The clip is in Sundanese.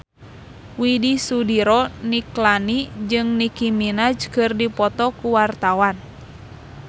Widy Soediro Nichlany jeung Nicky Minaj keur dipoto ku wartawan